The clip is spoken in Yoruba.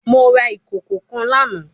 Mo ra ikoko kan lana